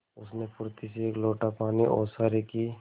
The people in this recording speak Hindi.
उसने फुर्ती से एक लोटा पानी ओसारे की